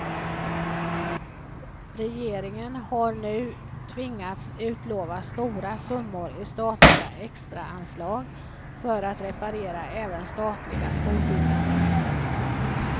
Regeringen har nu tvingats utlova stora summor i statliga extraanslag för att reparera även statliga skolbyggnader.